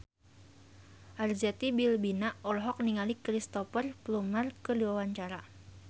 Arzetti Bilbina olohok ningali Cristhoper Plumer keur diwawancara